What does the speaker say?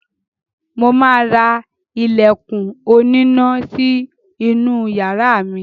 Mo ma ra ilẹ̀kùn oníná sí inú yàrá mi